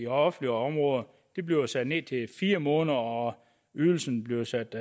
offentlige områder bliver sat ned til fire måneder og ydelsen bliver sat